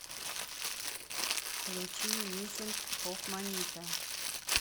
включи миссинг хофманита